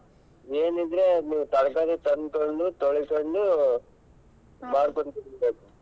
ಏನಿದ್ರೆ ನೀವ್ ತರಕಾರಿ ತಂದ್ಕೊಂಡು ತೊಳ್ಕೊಂಡು ಮಾಡ್ಕೊಂಡ್ ತಿನ್ಬೇಕು.